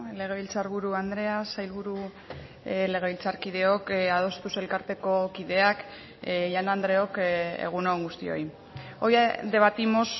legebiltzarburu andrea sailburu legebiltzarkideok adostuz elkarteko kideak jaun andreok egun on guztioi hoy debatimos